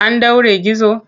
An ɗaure gizo?